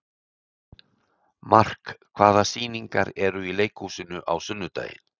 Mark, hvaða sýningar eru í leikhúsinu á sunnudaginn?